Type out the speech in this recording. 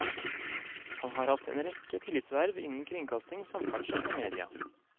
Han har hatt en rekke tillitsverv innen kringkasting, samferdsel og media.